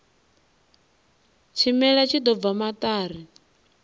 tshimela tshi ḓo bva maṱari